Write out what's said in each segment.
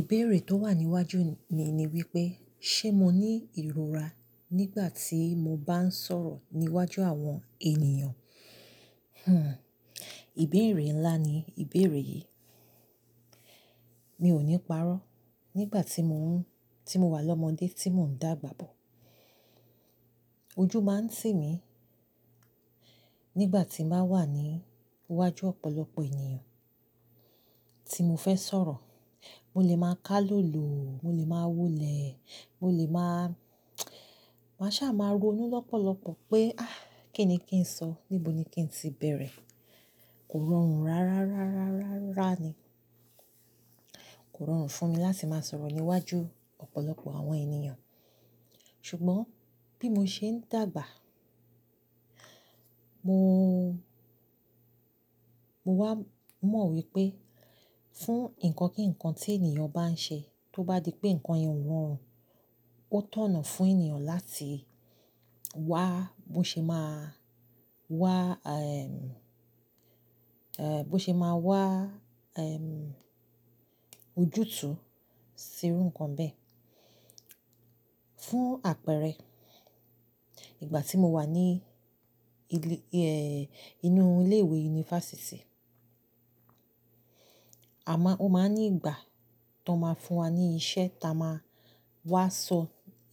Ìbéèrè tó wà níwájú mi ni wípé, ṣé mo ní ìrora nígbà tí mo bá ń sọ̀rọ̀ níwájú àwọn ènìyàn? Ìbéèrè ńlá ni ìbéèrè yìí. Mi ò ní parọ́. Nígbà tí mo ń-- tí mo wà lọ́mọdé tí mò ń dàgbà bọ̀, ojú máa ń tì mí nígbà tí bàá wà ní iwájú ọ̀pọ̀lọpọ̀ ènìyàn tí mo fẹ́ sọ̀rọ̀. Mo lè máa ká lọ̀lò, mo lè máa wólẹ̀, mo lè máa, máa sá máa ronú lọ́pọ̀lọpọ̀ pé, "Ah, kí ni kí ń sọ? Níbo ni kí ń ti bẹ̀rẹ̀?" Kò rọrùn rárárárárárára ni. Kò rọrùn fún mi láti máa sọ̀rọ̀ níwájú ọ̀pọ̀lọpọ̀ àwọn ènìyàn. Ṣùgbọ́n bí mo ṣe ń dàgbà, mo, mo wá mọ̀ wípé fún nǹkan kí nǹkan tí ènìyàn bá ń ṣe, tó bá di pé nǹkan yìí wọ́n, ó tọ̀nà fún ènìyàn láti wá bó ṣe máa wá, ẹ́, bó ṣe máa wá, ojútùú sí irú nǹkan bẹ́ẹ̀. Fún àpẹẹrẹ, ìgbà tí mo wà ní ilé, ẹ́, inú ilé ìwé yunifásítì, àmá-- ó máa ní ìgbà tó máa fún wa ní iṣẹ́ táa máa wá sọ,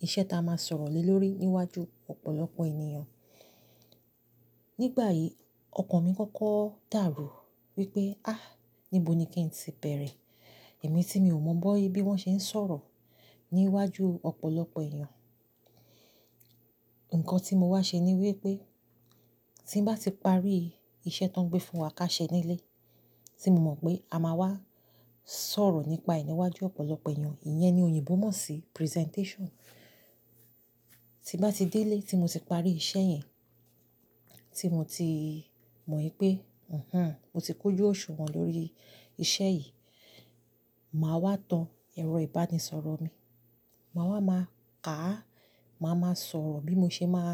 iṣẹ́ táa máa sọ̀rọ̀ lé lórí níwájú ọ̀pọ̀lọpọ̀ ènìyàn. Nígbà yìí ọkàn mi kọ́kọ́ dàrú wípé, "Ah, níbo ni kí ń ti bẹ̀rẹ̀?" Èmi tí mi ò mọ bó bí wọ́n ṣe ń sọ̀rọ̀ níwájú ọ̀pọ̀lọpọ̀ ènìyàn. Ǹkan tí mo wá ṣe ni wípé tí bá ti parí iṣẹ́ tó ń gbé fún wa ká ṣe nílé, tí mo mọ̀ pé a máa wá sọ̀rọ̀ nípa è niwájú ọ̀pọ̀lọpọ̀ ènìyàn, ìyẹn ni òyìnbó mọ̀ sí presentation. Ti bá ti dé ilé tí mo ti parí iṣẹ́ yẹn, tí mo ti mọ̀ wípé, "Mhm, mo ti kójo òsùwọ̀n lórí iṣẹ́ yìí," màá wá tan ẹ̀rọ ìbánisọ̀rọ̀ mi. Màá wá máa ká, màá máa sọ̀rọ̀ bí mo ṣe máa,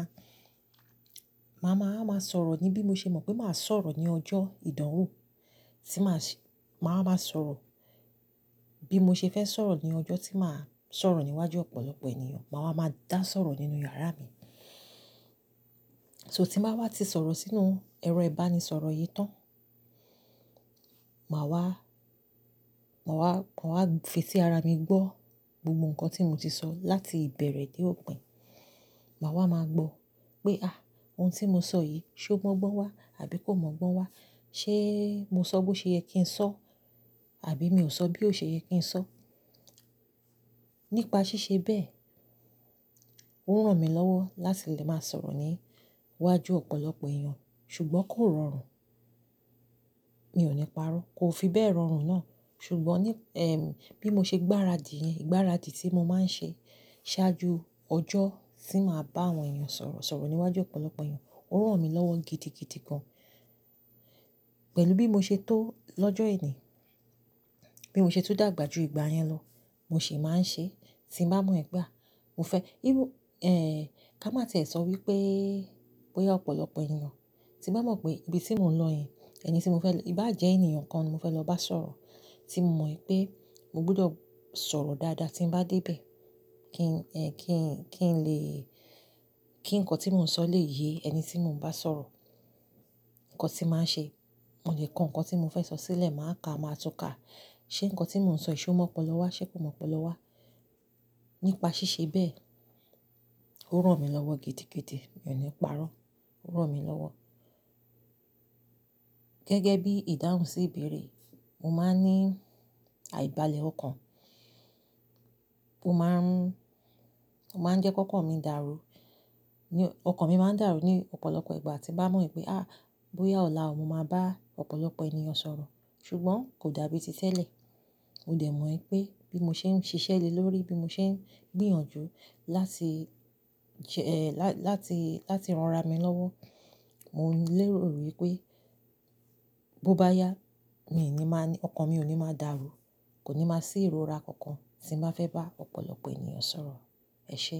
màá máa, máa sọ̀rọ̀ ní bí mo ṣe mọ̀ pé màá sọ̀rọ̀ ní ọjọ́ ìdánwò, tí màá ṣe, màá máa sọ̀rọ̀ bí mo ṣe fẹ́ sọ̀rọ̀ ní ọjọ́ tí màá sọ̀rọ̀ níwájú ọ̀pọ̀lọpọ̀ ènìyàn. Màá wá máa dá sọ̀rọ̀ nínú yàrá mi. So tí màá wá ti sọ̀rọ̀ sínú ẹ̀rọ ìbánisọ̀rọ̀ yìí tán, màá wá, màá wá, màá wá fi etí ara mi gbọ́ gbogbo nǹkan tí mo ti sọ láti ìbẹ̀rẹ̀ dé òpin. Màá wá máa gbọ́ pé, "Ah, ohun tí mo sọ yìí ṣé ó mọ̀gbọ́n wá àbí kò mọ̀gbọ́n wá? Ṣé mo sọ bó ṣe yẹ kí ń sọ̀, àbí mi ò sọ bí ó ṣe yẹ kí ń sọ?" Nípa ṣíṣe bẹ́ẹ̀, ó ń ràn mí lọ́wọ́ láti lè máa sọ̀rọ̀ ní iwájú ọ̀pọ̀lọpọ̀ ẹ̀yàn. Ṣùgbọ́n kò rọrùn. Mi ò ní parọ́. Kò fi bẹ́ẹ̀ rọrùn náà. Ṣùgbọ́n ní, bí mo ṣe gbáradì yẹn, ìgbáradì tí mo máa ń ṣe ṣáájú ọjọ́ tí màá bá àwọn ẹ̀yàn sọ̀rọ̀, sọ̀rọ̀ níwájú ọ̀pọ̀lọpọ̀ ẹ̀yàn, ó ń ràn mí lọ́wọ́ gidi gidi kan. Pẹ̀lú bí mo ṣe tó lọ́jọ́ ẹní, bí mo ṣe tún dàgbà ju ìgbà yẹn lọ, mo sì máa ń ṣe. Tí mo bá mọ ẹ̀gbà, mo fẹ́, irú, ká má tẹ̀ sọ wípé, bóyá ọ̀pọ̀lọpọ̀ ènìyàn, tí mo bá mọ̀ pé ibi tí mò ń lọ yẹn, ẹni tí mo fẹ́-- ìbá jẹ́ ènìyàn kan ni mo fẹ́ lọ bá sọ̀rọ̀, tí mo mọ̀ wípé mo gbọdọ̀ sọ̀rọ̀ dáadáa tí mo bá dé bẹ̀, kí n, kí n, kí n lè, kí ǹkan tí mò ń sọ lè yé ẹni tí mò ń bá sọ̀rọ̀. Ǹkan tí màá ṣe, mo lè kọ ǹkan tí mò ń fẹ́ sọ sílẹ̀, màá ka, màá tún ka. Ṣé ǹkan tí mò ń sọ, ṣé ó mọ̀pọ̀lọ́ wá? Ṣé kò mọ̀pọ̀lọ́ wá? Nípa ṣíṣe bẹ́ẹ̀, ó ń ràn mí lọ́wọ́ gidi gidi. Mi ò ní parọ́. Ó ń ràn mí lọ́wọ́. Gẹ́gẹ́ bí ìdáhùn sí ìbéèrè, mo máa ń ní àìbalẹ̀ ọkàn po máa ń, tó máa ń jẹ́ kó kọ̀ mí dàrú. Ópò-- ọkàn mi máa ń dàrú ní ọ̀pọ̀lọpọ̀ ìgbà tí bá mọ̀ wípé, ah, bóyá ọ̀la mo máa bá ọ̀pọ̀lọpọ̀ ènìyàn sọ̀rọ̀. Ṣùgbọ́n kò dàbí ti tẹ́lẹ̀. Mo dẹ̀ mọ̀ wípé bí mo ṣe ń ṣiṣẹ́ le lórí, bí mo ṣe ń gbìyànjú láti jẹ, ẹ́, láti, láti ran ara mi lọ́wọ́, mò ń lérò wípé bó bá yá, mi ò ní máa ní-- ọkàn mi ò ní máa dàrú. Kò ní máa sí ìrora kankan tí mo bá fẹ́ bá ọ̀pọ̀lọpọ̀ ènìyàn sọ̀rọ̀. Ẹ ṣe.